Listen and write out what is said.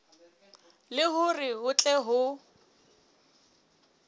le hore ho tle ho